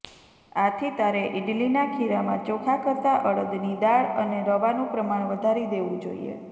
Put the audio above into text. આથી તારે ઈડલીના ખીરામાં ચોખા કરતા અડદની દાળ અને રવાનું પ્રમાણ વધારી દેવુ જોઈએ